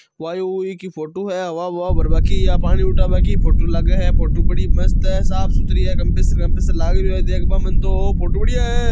वायु की फोटो है हवा हवा भरबा की या पानी उठाबा की फोटो लागे है फोटो बड़ी मस्त है साफ सुथरी है कंप्रेसर कंप्रेसर लाग रियो है देखबा में तो फोटो बढ़िया है।